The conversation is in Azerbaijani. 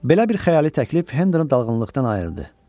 Belə bir xəyali təklif Henderin dalğınlıqdan ayırdı.